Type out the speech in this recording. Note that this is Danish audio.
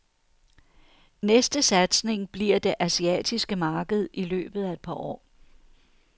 Næste satsning bliver det asiatiske marked i løbet af et par år.